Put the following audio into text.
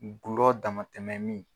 N gulɔ damatɛmɛ min.